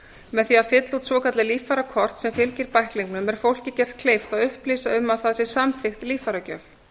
með því að fylla út svokallað líffærakort sem fylgir bæklingnum er fólki gert kleift að upplýsa um að það sé samþykkt líffæragjöf